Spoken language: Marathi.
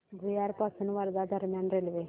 भुयार पासून वर्धा दरम्यान रेल्वे